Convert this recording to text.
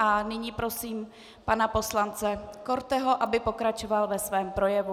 A nyní prosím pana poslance Korteho, aby pokračoval ve svém projevu.